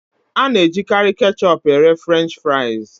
A na-ejikarị ketchup ere Frenchị fries.